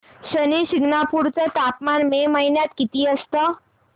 शनी शिंगणापूर चं तापमान मे महिन्यात किती असतं